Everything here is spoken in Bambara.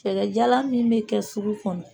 Cɛkɛjalan min bɛ kɛ sugu kɔnɔ!